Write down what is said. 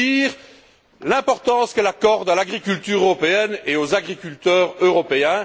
C'est dire l'importance qu'elle accorde à l'agriculture européenne et aux agriculteurs européens.